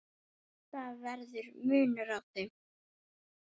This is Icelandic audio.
Það verður munur á þeim.